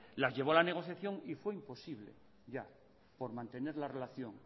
las llevó a la negociación y fue imposible ya mantener la relación